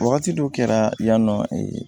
Wagati dɔw kɛra yan nɔ